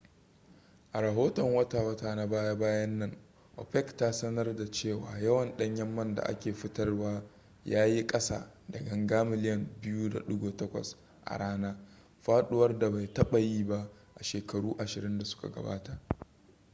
a rahoton wata-wata na baya-bayan nan opec ta sanarda cewa yawan ɗanyen man da ake fitarwa ya yi kasa da ganga miliyan 2.8 a rana faɗuwar da bai taɓa yi ba a shekaru ashirin da suka gabata